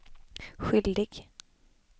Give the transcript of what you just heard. skyldig